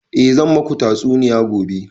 A zan maku tatsuniya gobe